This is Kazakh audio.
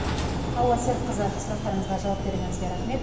алуа серікқызы сұрақтарымызға жауап бергеніңізге рахмет